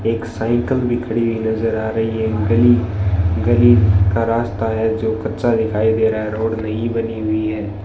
एक साइकिल भी खड़ी हुई नजर आ रही है गली गली का रास्ता है जो कच्चा दिखाई दे रहा है रोड नई बनी हुई है।